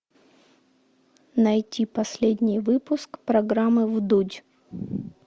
найти последний выпуск программы вдудь